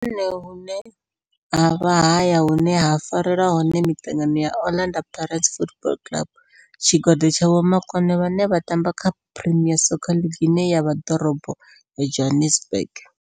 Ndi hone hune havha haya hune ha farelwa hone mitangano ya Orlando Pirates Football Club. Tshigwada tsha vhomakone vhane vha tamba kha Premier Soccer League ine ya vha Dorobo ya Johannesburg.